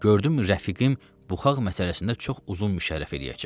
Gördüm rəfiqim buxaq məsələsində çox uzun müşərrəh eləyəcək.